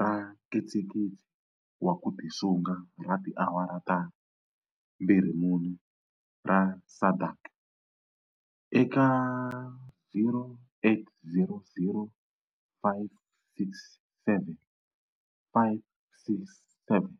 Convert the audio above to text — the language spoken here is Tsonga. ra nkitsikitsi wa ku tisunga ra tiawara ta 24 ra SADAG eka 0800 567 567.